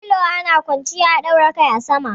Filo ana kwanciya a daura kai a sama.